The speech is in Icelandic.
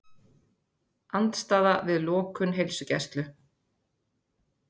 Andstaða við lokun heilsugæslu